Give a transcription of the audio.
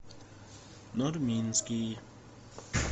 нурминский